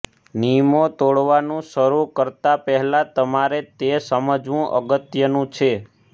નિયમો તોડવાનું શરૂ કરતાં પહેલાં તમારે તે સમજવું અગત્યનું છે